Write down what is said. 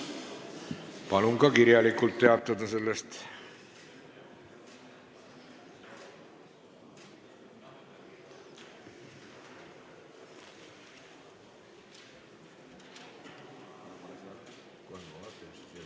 Palun sellest ka kirjalikult teatada!